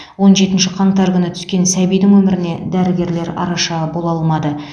он жетінші қаңтар күні түскен сәбидің өміріне дәрігерлер араша бола алмады